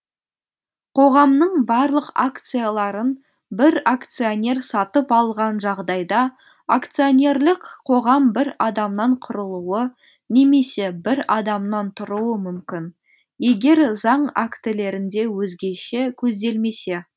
қоғамның барлық акцияларын бір акционер сатып алған жағдайда акционерлік қоғам бір адамнан құрылуы немесе бір адамнан тұруы мүмкін егер заң актілерінде өзгеше көзделмесе